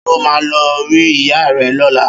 Ṣé ọ máà lo rí ìyá rẹ lọ́la?